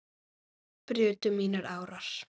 brutu mínar árar